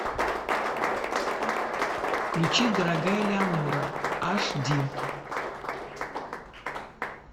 включи дорогая элеонора аш ди